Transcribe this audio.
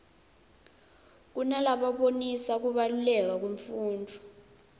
kunalabonisa kubaluleka kwemfundvo